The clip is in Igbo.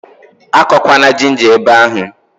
Akọkwana ginja ebe ahụ!